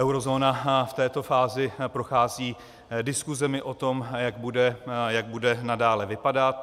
Eurozóna v této fázi prochází diskusemi o tom, jak bude nadále vypadat.